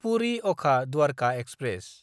Puri Okha Dwarka express